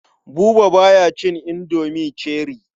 Buba ba ya cin indomi cherie.